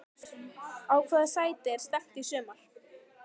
Á hvaða sæti er stefnt í sumar?